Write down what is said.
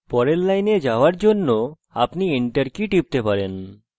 পরের line যাওয়ার জন্য আপনি enter key টিপতে পারেন